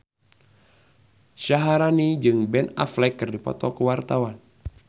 Syaharani jeung Ben Affleck keur dipoto ku wartawan